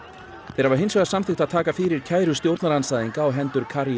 þeir hafa hins vegar samþykkt að taka fyrir kæru stjórnarandstæðinga á hendur